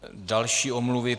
Další omluvy.